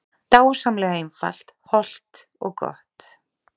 Dásamlega einfalt, hollt og gott